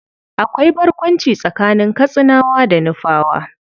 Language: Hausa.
Akwai barkwanci tsakanin Katsinawa da Nufawa.